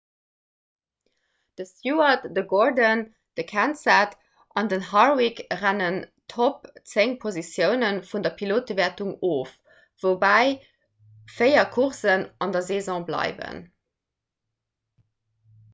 de stewart de gordon de kenseth an den harwick rënnen d'topp zéng positioune vun der pilotewäertung of woubäi véier coursen an der saison bleiwen